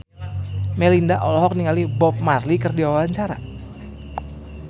Melinda olohok ningali Bob Marley keur diwawancara